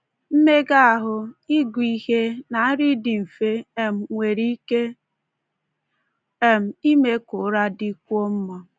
Mmega ahụ,, ịgụ ihe, na nri dị mfe um nwere ike um ime ka ụra dịkwuo mma.